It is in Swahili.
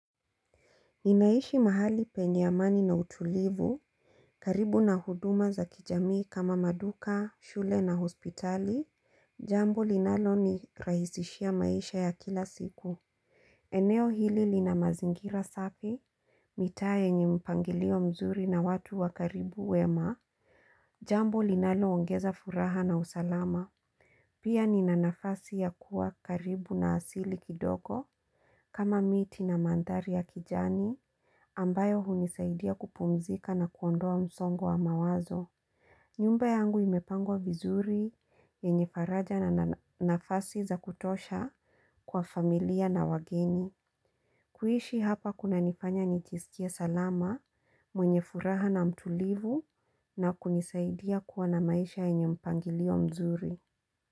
Ninaishi mahali penye amani na utulivu. Karibu na huduma za kijamii kama maduka, shule na hospitali; jambo linalonirahisishia maisha ya kila siku. Eneo hili lina mazingira safi, mitaa yenye mpangilio mzuri na watu wakaribu wema. Jambo linaloongeza furaha na usalama. Pia nina nafasi ya kuwa karibu na asili kidogo. Kama miti na mandhari ya kijani, ambayo hunisaidia kupumzika na kuondoa msongo wa mawazo. Nyumba yangu imepangwa vizuri, yenye faraja na nafasi za kutosha kwa familia na wageni. Kuishi hapa kunanifanya nijiskie salama, mwenye furaha na mtulivu na kunisaidia kuwa na maisha yenye mpangilio mzuri.